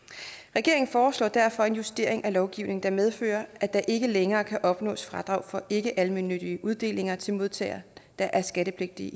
regeringen foreslår derfor en justering af lovgivningen der medfører at der ikke længere kan opnås fradrag for ikkealmennyttige uddelinger til modtagere der er skattepligtige